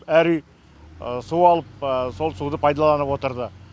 әр үй су алып сол суды пайдаланып отырды